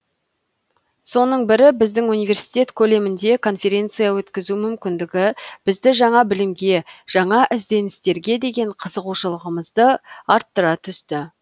соның бірі біздің университет көлемінде конференция өткізу мүмкіндігі бізді жаңа білімге жаңа ізденістерге деген қызығушылығымызды арттыра түсті